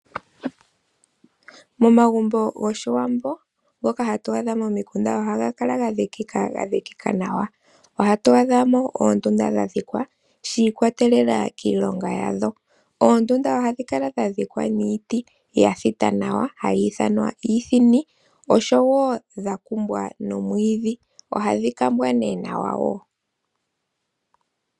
Omagumbo goshiwambo ngoka hatu adha momikunda ohaga kala ga dhikika, ga dhikika nawa. Ohatu adha amo oondunda dha dhikwa nawa, shi ikwatelela kiilonga yadho. Oondunda ohadhi kala dha dhikwa niiti ya thita nawa, hayi ithanwa iithini, oshowo dha kumbwa nomwiidhi. Ohadhi kambwa nee nawa wo.